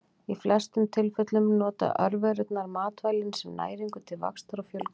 Í flestum tilfellum nota örverurnar matvælin sem næringu til vaxtar og fjölgunar.